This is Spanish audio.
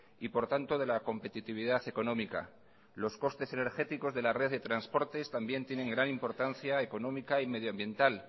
y por tanto de la competitividad económica los costes energéticos de la red de transportes también tienen gran importancia económica y medioambiental